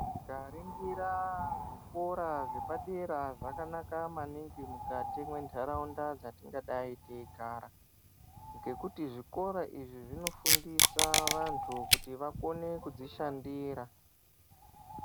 Tikaningira zvikora zvepadera zvakanaka maningi mukati mwendaraunda dzatinga dai teyigara ngokuti zvikora izvi zvinofundisa vantu kuti vakone kuzvishandira.